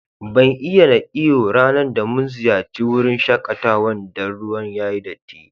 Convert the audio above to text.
Ban iya na yi iyo ranan da mun ziyace wurin shakatawan Dan ruwan yayi datti.